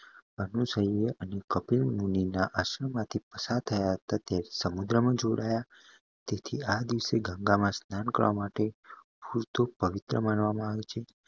કપિલ મુનિના આશ્રમ માટી પસાર થયા તે સમુદ્ર માં જોડાયા તેથી આ દિવસે ગંગા માં સ્નાન કરવા માટે પવિત્ર માનવામાં આવે છે